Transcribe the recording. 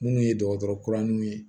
Munnu ye dɔgɔtɔrɔ kura minnu ye